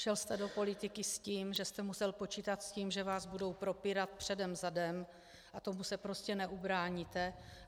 Šel jste do politiky s tím, že jste musel počítat s tím, že vás budou propírat předem zadem, a tomu se prostě neubráníte.